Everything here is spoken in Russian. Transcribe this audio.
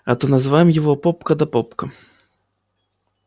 а то называем его попка да попка